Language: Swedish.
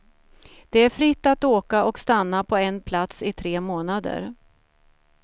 Det är fritt att åka och stanna på en plats i tre månader.